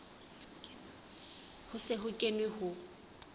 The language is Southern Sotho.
ho se ho kenwe ho